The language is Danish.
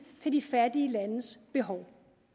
til de fattige landes behov